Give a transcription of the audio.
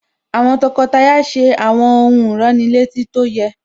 Àwọn tọkọtaya ṣe àwọn ohun ìránnilétí tó yẹ